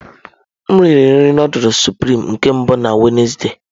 M riri nri nudulu sụprịme nke mbụ na Wednesde.